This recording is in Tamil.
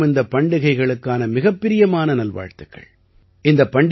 உங்கள் அனைவருக்கும் இந்தப் பண்டிகைகளுக்கான மிகப்பிரியமான நல்வாழ்த்துக்கள்